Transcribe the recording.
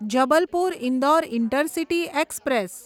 Jabalpur Indore intercity express